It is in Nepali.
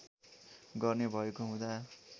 गर्ने भएको हुँदा